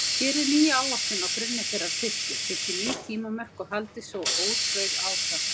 Gerið nýja áætlun á grunni þeirrar fyrstu, setjið ný tímamörk og haldið svo ótrauð áfram.